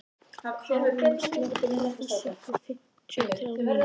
Karín, slökktu á þessu eftir fimmtíu og þrjár mínútur.